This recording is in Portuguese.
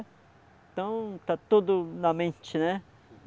Então tá tudo na mente, né?